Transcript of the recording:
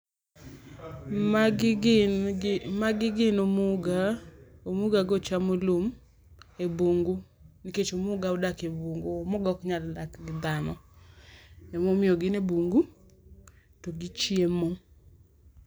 Magi gin gi ,magi gin omuga, omuga go chamo lum e bungu nikech omuga odak e bungu nikech omuga ok nyal dak gidhano. Emomiyo gine bungu to gichiemo